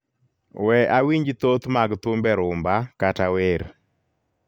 we awinj thoth mag thumbe rhumba kata wer